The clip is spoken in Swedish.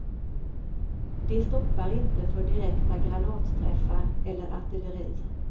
De stoppar inte för direkta granatträffar eller artilleri.